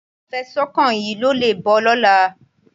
Afẹ̀sùnkàn yìí kò le bọ́ lọ́la.